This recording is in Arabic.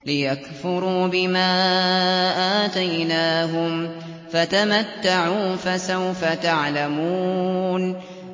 لِيَكْفُرُوا بِمَا آتَيْنَاهُمْ ۚ فَتَمَتَّعُوا فَسَوْفَ تَعْلَمُونَ